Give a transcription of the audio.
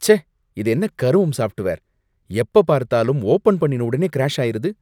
ச்சே, இது என்ன கருமம் சாஃப்ட்வேர்! எப்ப பார்த்தாலும் ஓபன் பண்ணின உடனே கிராஷ் ஆயிருது.